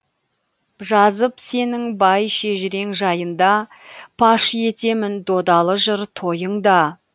жазып сенің бай шежірең жайында паш етемін додалы жыр тойыңда